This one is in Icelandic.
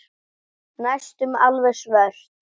Næstum alveg svört.